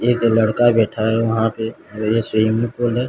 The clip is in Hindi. एक लड़का बैठा है वहां पे ये स्विमिंग पूल है।